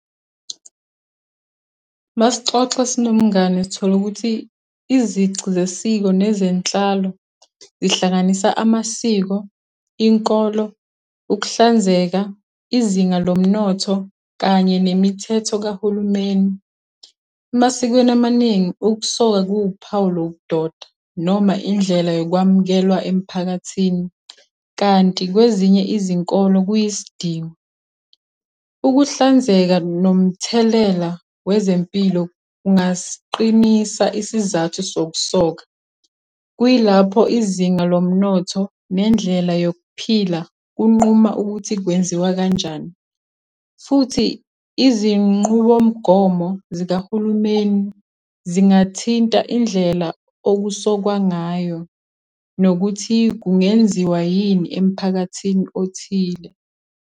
Uma sixoxa sinomngani sithole ukuthi, izici zesiko nezenhlalo, zihlanganisa amasiko, inkolo, ukuhlanzeka, izinga lomnotho, kanye nemithetho kahulumeni. Emasikweni amaningi ukusoka kuwuphawu lobu doda, noma indlela yokwamukelwa emphakathini, kanti kwezinye izinkolo kuyisidingo. Ukuhlanzeka nomthelela wezempilo kungasiqisa isizathu sokusoka, kuyilapho izinga lomnotho nendlela yokuphila kunquma ukuthi kwenziwa kanjani. Futhi izinqubomgomo zikahulumeni zingathinta indlela okusokwa ngayo nokuthi kungenziwa yini emphakathini othile.